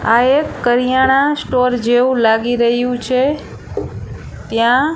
આ એક કરિયાણા સ્ટોર જેવુ લાગી રહ્યુ છે ત્યાં--